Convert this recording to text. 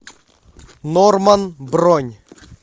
норман бронь